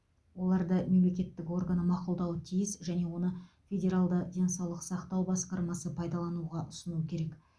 оларды мемлекеттік органы мақұлдауы тиіс және оны федералды денсаулық сақтау басқармасы пайдалануға ұсынуы керек